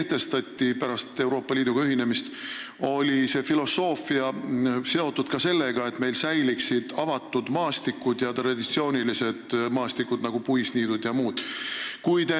Omal ajal, kui pärast Euroopa Liiduga ühinemist kehtestati niitmistoetused, oli see filosoofia seotud ka sellega, et meil säiliksid avatud maastikud ja traditsioonilised maastikud, nagu puisniidud jms.